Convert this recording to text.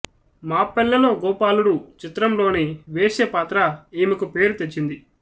మా పల్లెలో గోపాలుడు చిత్రంలోని వేశ్య పాత్ర ఈమెకు పేరు తెచ్చింది